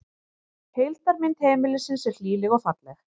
Heildarmynd heimilisins er hlýleg og falleg